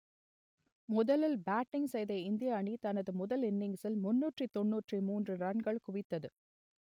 முதலில் பேட்டிங் செய்த இந்திய அணி தனது முதல் இன்னிங்ஸில் முன்னூற்று தொண்ணூற்று மூன்று ரன்கள் குவித்தது